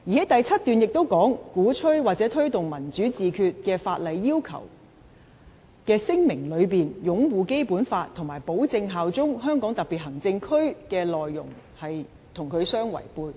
"第七段亦指出："鼓吹或推動'民主自決'與法例要求之聲明內擁護《基本法》和保證效忠香港特別行政區的內容相違背"。